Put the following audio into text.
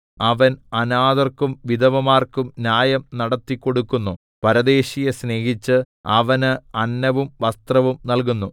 അവൻ അനാഥർക്കും വിധവമാർക്കും ന്യായം നടത്തിക്കൊടുക്കുന്നു പരദേശിയെ സ്നേഹിച്ച് അവന് അന്നവും വസ്ത്രവും നല്കുന്നു